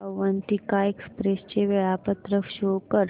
Avantika express चे वेळापत्रक show कर